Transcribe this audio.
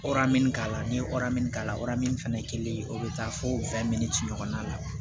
min k'a la n'i ye min k'a la o fɛnɛ kɛlen o bɛ taa fɔ ɲɔgɔn na